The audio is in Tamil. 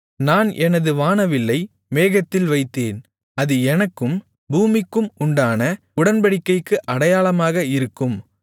நான் எனது வானவில்லை மேகத்தில் வைத்தேன் அது எனக்கும் பூமிக்கும் உண்டான உடன்படிக்கைக்கு அடையாளமாக இருக்கும்